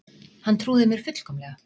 Hann trúði mér fullkomlega.